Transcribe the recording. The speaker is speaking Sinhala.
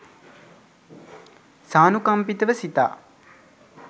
සානුකම්පිතව සිතා